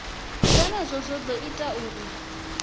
zwenezwo zwo ḓo ita uri